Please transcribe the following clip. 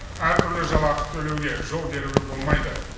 әртүрлі жалақы төлеуге жол беруге болмайды